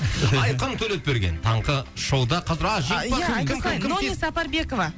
айқын төлепберген таңғы шоуда қазір а жеңімпаз кім ия айта салайын номи сапарбекова